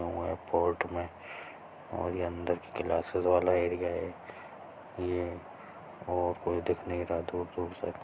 अउ ये बोट में और ये अंदर की क्लास्सेस वाला एरिया हैं ये और कोई दिख नही रहा दूर-दूर तक--